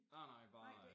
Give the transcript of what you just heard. Nej nej bare øh